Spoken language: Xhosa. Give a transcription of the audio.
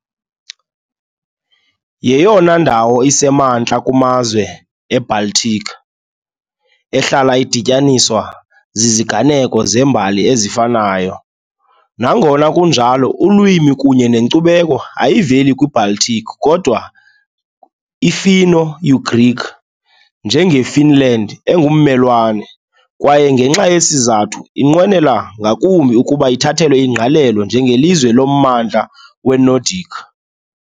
Yeyona ndawo isemantla kumazwe eBaltic, ehlala idityaniswa ziziganeko zembali ezifanayo, Nangona kunjalo ulwimi kunye nenkcubeko ayiveli kwiBaltic kodwa iFinno - Ugric, njengeFinland engummelwane, kwaye ngenxa yesi sizathu inqwenela ngakumbi ukuba ithathelwe ingqalelo njengelizwe lommandla weNordic .